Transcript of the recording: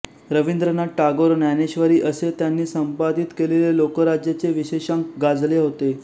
रवींद्रनाथ टागोर ज्ञानेश्वरी असे त्यांनी संपादित केलेले लोकराज्यचे विशेषांक गाजले होते